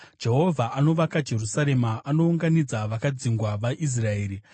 Jehovha anovaka Jerusarema; anounganidza vakadzingwa vaIsraeri.